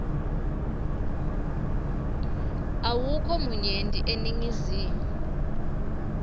awukho munyenti eningizimu